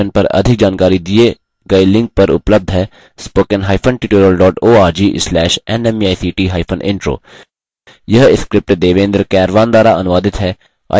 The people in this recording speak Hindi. इस mission पर अधिक जानकारी दिए गए लिंक पर उपलब्ध है